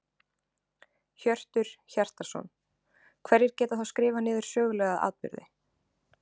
Hjörtur Hjartarson: Hverjir geta þá skrifað niður sögulega atburði?